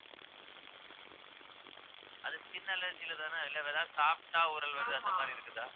அது skin allergy லதானே இல்லை ஏதாவது சாப்பிட்டா ஊறல் வருது அந்த மாதிரி இருக்குதா